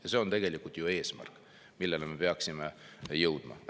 Ja see on tegelikult ju eesmärk, milleni me peaksime jõudma.